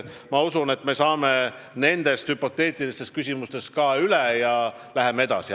Ma usun, et me saame nendest hüpoteetilistest küsimustest üle ja läheme edasi.